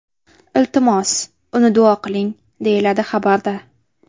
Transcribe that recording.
Iltimos, uni duo qiling”, deyiladi xabarda.